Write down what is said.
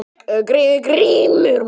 GRÍMUR: Meinleysið er þinn mesti ókostur.